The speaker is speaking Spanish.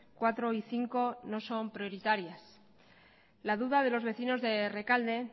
cuatro y cinco no son prioritarias la duda de los vecinos de rekalde